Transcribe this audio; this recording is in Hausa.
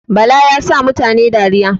Bala yasa mutane dariya jiya